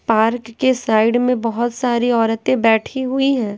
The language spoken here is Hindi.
पार्क के साइड में बहुत सारी औरतें बैठी हुई हैं।